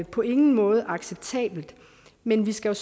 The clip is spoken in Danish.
på ingen måde er acceptable men vi skal